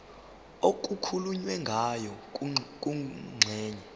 okukhulunywe ngayo kwingxenye